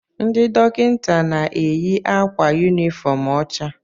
Ndị dọkịta na-eyi akwa yunifọọm ọcha.